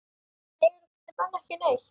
Heyra þessir menn ekki neitt?